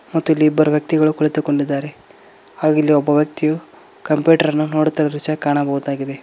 ಮತ್ತು ಇಲ್ಲಿ ಇಬ್ಬರು ವ್ಯಕ್ತಿಗಳು ಕುಳಿತುಕೊಂಡಿದ್ದಾರೆ ಹಾಗ್ ಇಲ್ಲಿ ಒಬ್ಬ ವ್ಯಕ್ತಿಯು ಕಂಪ್ಯೂಟರ್ ನ ನೋಡ್ತಿರುವ ದೃಶ್ಯ ಕಾಣಬೋದಾಗಿದೆ.